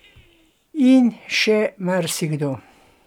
In še marsikdo.